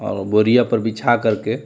और बोरिया पर बिछा कर के --